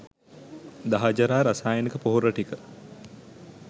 දහජරා රසායනික පොහොර ටික